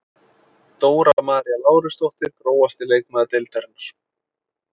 Dóra María Lárusdóttir Grófasti leikmaður deildarinnar?